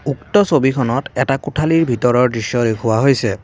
উক্ত ছবিখনত এটা কোঠালীৰ ভিতৰৰ দৃশ্য দেখুওৱা হৈছে।